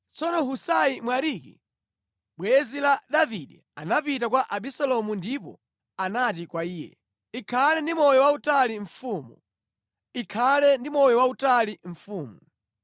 Tsono Husai Mwariki bwenzi la Davide anapita kwa Abisalomu ndipo anati kwa iye, “Ikhale ndi moyo wautali mfumu! Ikhale ndi moyo wautali mfumu!”